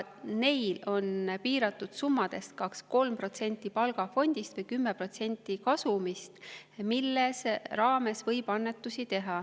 Neil on piirang, 2–3% palgafondist või 10% kasumist, mille raames võib annetusi teha.